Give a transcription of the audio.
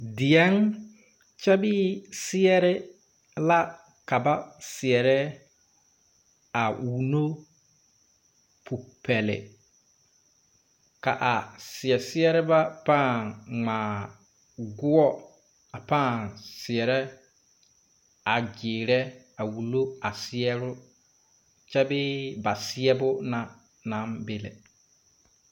Diɛŋ kyɛ bee seɛrre la ka ba seɛrɛ a wunno popɛli ka a seɛsɛrrebɛ pãã ngmaa goɔ a pãã seɛrɛ a gyiirɛ a wullo a seɛre kyɛ bee ba seɛbo na naŋ be lɛ.